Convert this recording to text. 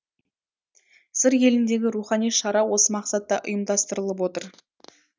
сыр еліндегі рухани шара осы мақсатта ұйымдастырылып отыр